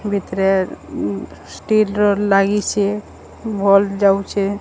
ଭିତିରେ ଉଁ ଷ୍ଟିଲ ର ଲାଗିଚେ ଭଲ୍ ଯାଉଛେଁ।